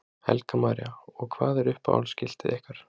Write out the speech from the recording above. Helga María: Og hvað er uppáhalds skiltið ykkar?